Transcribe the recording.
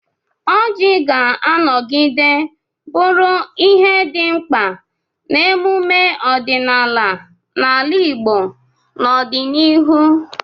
Ọjị ga-anọgide bụrụ ihe dị mkpa n'emume ọdịnala n'ala Igbo n'ọdịnihu: